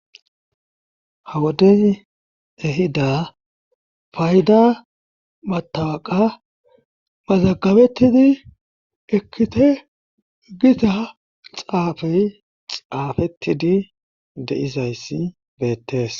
ha wodey ehida fayda matawaqa mazagabettidi ekkite gita xaafey xaafettidi deizayssi beettees